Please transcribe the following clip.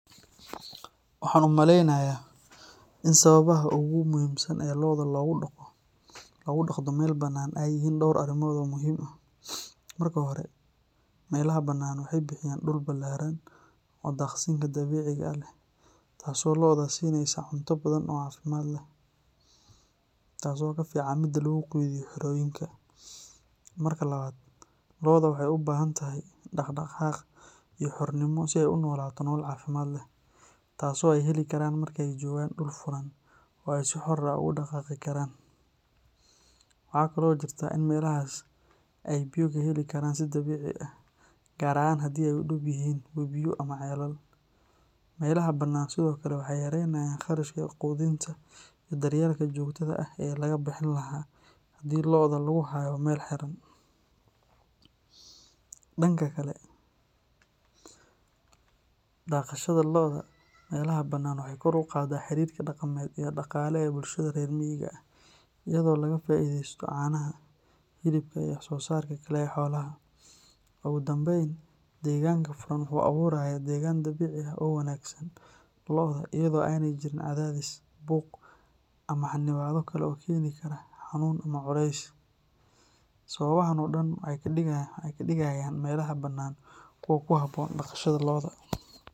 Waxaan u maleynayaa in sababaha ugu muhiimsan ee lo’da loogu dhaqdo meel bannaan ay yihiin dhowr arrimood oo muhiim ah. Marka hore, meelaha bannaan waxay bixiyaan dhul ballaaran oo daaqsinka dabiiciga ah leh taasoo lo’da siinaysa cunto badan oo caafimaad leh, taasoo ka fiican midda lagu quudiyo xerooyinka. Marka labaad, lo’da waxay u baahan tahay dhaqdhaqaaq iyo xornimo si ay u noolaato nolol caafimaad leh, taasoo ay heli karaan marka ay joogaan dhul furan oo ay si xor ah ugu dhaqaaqi karaan. Waxaa kale oo jirta in meelahaas ay biyo ka heli karaan si dabiici ah, gaar ahaan haddii ay u dhow yihiin webiyo ama ceelal. Meelaha bannaan sidoo kale waxay yaraynayaan kharashka quudinta iyo daryeelka joogtada ah ee laga bixin lahaa haddii lo’da lagu hayo meel xiran. Dhanka kale, dhaqashada lo’da meelaha bannaan waxay kor u qaadaa xiriirka dhaqameed iyo dhaqaale ee bulshada reer miyiga ah, iyadoo laga faa’iidaysto caanaha, hilibka, iyo wax-soosaarka kale ee xoolaha. Ugu dambeyn, deegaanka furan wuxuu abuurayaa deegaan dabiici ah oo u wanaagsan lo’da, iyadoo aanay jirin cadaadis, buuq, ama xannibaado kale oo keeni kara xanuun ama culays. Sababahan oo dhan waxay ka dhigayaan meelaha bannaan kuwo ku habboon dhaqashada lo’da.